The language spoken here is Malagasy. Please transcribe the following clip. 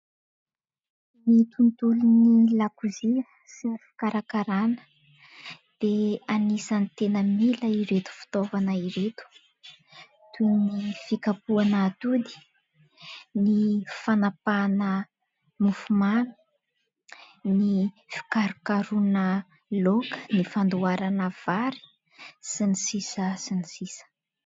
Ny tontolon'ny lakozia sy ny fikarakarana dia anisany tena mila ireto fitaovana ireto, toy ny : fikapohana atody, ny fanapahana mofomamy, ny fikarokarohana laoka, ny fandoharana vary sy ny sisa sy ny sisa...